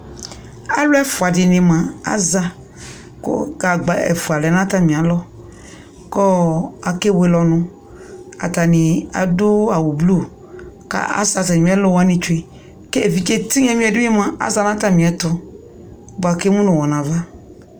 Aluɛfua dini mua aƶaa ku gagba efua lɛ natamialɔ kɔɔ akeewele ɔnu katanii adu awu bluu kaa asɛ atamiɛlu wanii twee keviɖʒe tinyamio di mua ɔƶa natamiɛtu bua kemu nuwɔ nava